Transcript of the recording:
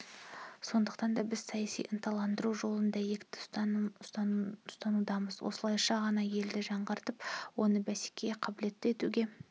сондықтан да біз саяси ырықтандыру жолын дәйекті ұстанудамыз осылайша ғана елді жаңғыртып оны бәсекеге қабілетті етуге